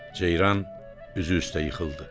Ceyran üzü üstə yıxıldı.